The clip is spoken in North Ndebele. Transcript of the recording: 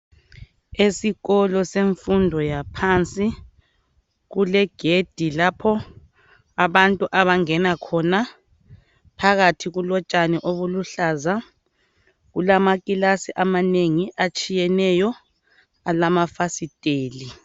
Esikolo semfundo yaphansi kule gedi lapho abantu abangena khona phakathi kulotshani obuluhlaza, kulama kilasi amanengi atshiyeneyo alamafasitela.